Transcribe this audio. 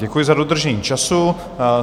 Děkuji za dodržení času.